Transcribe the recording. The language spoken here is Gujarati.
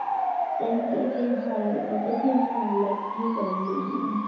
કે નયા ના પાડી દીધી કેમકે હા તેમણે પછી અલગથી કરી લીધું